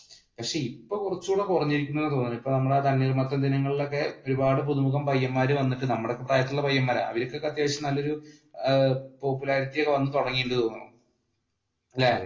പക്ഷെ ഇപ്പൊ കുറച്ചും കൂടി കുറഞ്ഞിരിക്കുന്നു എന്നാണ് തോന്നുന്നേ ഇപ്പൊ നമ്മുടെ തണ്ണീർമത്തൻ ദിനങ്ങളിൽ ഒക്കെ ഒരുപാട് പുതുമുഖം പയ്യന്മാർ വന്നിട്ട് നമ്മുടെ പ്രായത്തിൽ ഒക്കെയുള്ള പയ്യന്മാരാ അവർക്കൊക്കെ അത്യാവശ്യം നല്ലയൊരു popularity ഒക്കെ വന്നു തുടങ്ങി എന്ന് എനിക്ക് തോന്നുന്നു അല്ലെ,